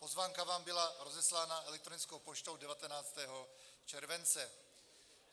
Pozvánka vám byla rozeslána elektronickou poštou 19. července.